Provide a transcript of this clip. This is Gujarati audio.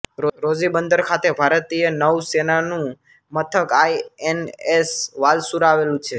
રોઝી બંદર ખાતે ભારતીય નૌસેનાનું મથક આઈ એન એસ વાલસુરા આવેલું છે